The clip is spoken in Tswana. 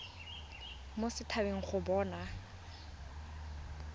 mo set habeng go bona